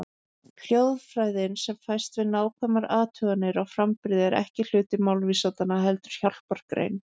Hljóðfræðin sem fæst við nákvæmar athuganir á framburði er ekki hluti málvísindanna, heldur hjálpargrein.